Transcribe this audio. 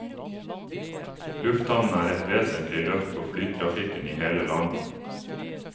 Lufthavnen er et vesentlig løft for flytrafikken i hele landet.